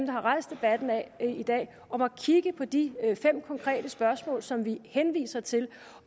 har rejst debatten i dag om at kigge på de fem konkrete spørgsmål som vi henviser til